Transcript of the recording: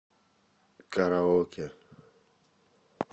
караоке